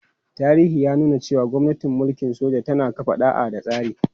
Tarihi ya nuna cewa gwamnatin mulkin soja tana kafa ɗa'a da tsari.